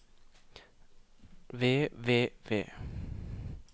ved ved ved